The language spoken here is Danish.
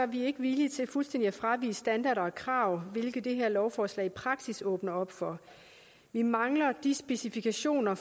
vi ikke villige til fuldstændig at fravige standarder og krav hvilket det her lovforslag i praksis åbner op for vi mangler de specifikationer